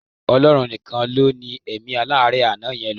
Ọlọ́run nìkan ló ní èmí aláárẹ̀ àná yẹn lò.